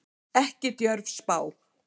Ekki djörf spá.